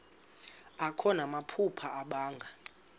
akho namaphupha abanga